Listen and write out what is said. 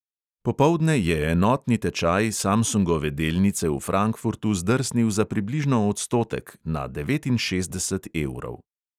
Popoldne je enotni tečaj samsungove delnice v frankfurtu zdrsnil za približno odstotek, na devetinšestdeset evrov.